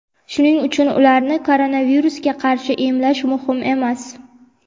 shuning uchun ularni koronavirusga qarshi emlash muhim emas.